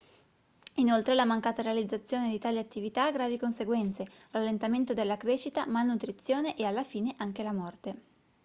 inoltre la mancata realizzazione di tali attività ha gravi conseguenze rallentamento della crescita malnutrizione e alla fine anche la morte